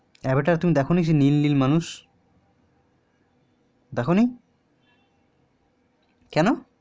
অব্যাটের তুমি দেখনি সেই নীল নীল মানুষ দেখনি কেন